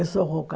Eu sou rouca.